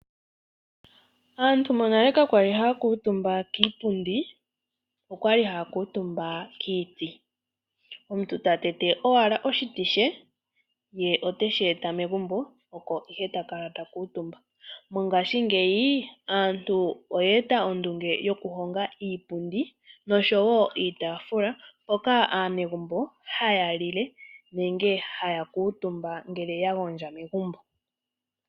Aant yonale ka kwali haya kuutumba kiipundi, okwali haya kuutumba kiiti. Omuntu otate owala oshiti she ye ote shi eta megumbo oko ihe takala ta kuutumba. Moongaashi ngeyi, aantu oye etapo ondunge yo kuhonga iipundi noshwo iitaafula mpoka aanegumbo ha yalile nenge ha ya kuutumba ngele yagondja megumbo.